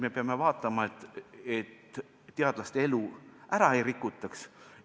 Me peame vaatama, et teadlaste elu ära ei rikutaks.